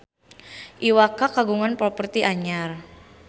Iwa K kagungan properti anyar